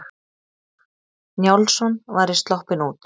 Njálsson væri sloppinn út.